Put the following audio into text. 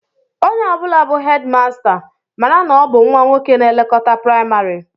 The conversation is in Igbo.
Onye ọ bụla bụ hedịmasta, mara na ọ bụ nnwa nwoke na-elekọta praịmarị